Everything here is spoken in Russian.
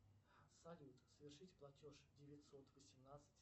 салют совершить платеж девятьсот восемнадцать